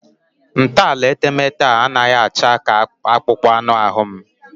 Ntọala etemeete a anaghị acha ka akpụkpọ anụ ahụ m